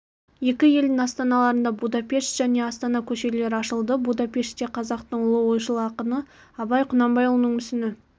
екі елдің астаналарында будапешт және астана көшелері ашылды будапеште қазақтың ұлы ойшыл ақыны абай құнанбайұлының мүсіні